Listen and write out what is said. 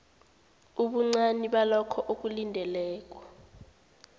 ubuncani balokho okulindelweko